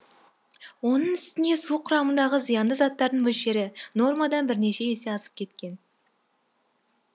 оның үстіне су құрамындағы зиянды заттардың мөлшері нормадан бірнеше есе асып кеткен